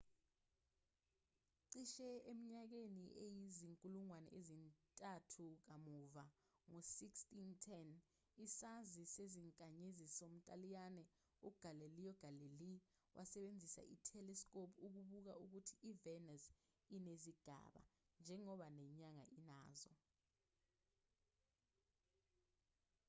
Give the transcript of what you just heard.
cishe eminyakeni eyizinkulungwane ezintathu kamuva ngo-1610 isazi sezinkanyezi somntaliyane ugalileo galilei wasebenzisa i-telescope ukubuka ukuthi ivenus inezigaba njengoba nenyanga inazo